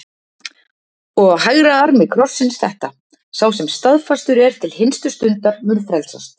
Og á hægra armi krossins þetta: Sá sem staðfastur er til hinstu stundar mun frelsast.